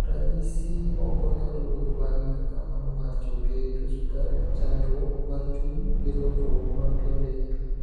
Ranyisi moko nyalo wuok bange kaka mano mar choke, tuo sukari, chandruok mar chuny, gi lokruok mar pien del.